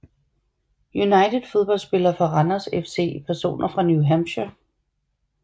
United Fodboldspillere fra Randers FC Personer fra New Hampshire